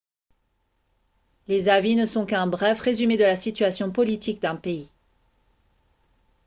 les avis ne sont qu'un bref résumé de la situation politique d'un pays